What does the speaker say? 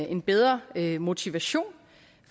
en bedre motivation